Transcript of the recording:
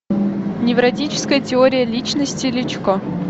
невротическая теория личности личко